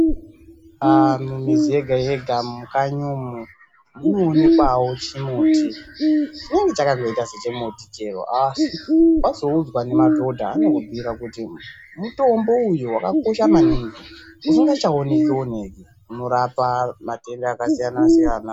Antu mumizi yega yega mukanyi umu munonekwawo chimuti chinenge chakangoita sechimuti chero asi wazoudzwa nemadhodha anokubhuira kuti mutombo uyu wakakosha maningi usingachaoneke oneke unorapa matenda akasiyana siyana .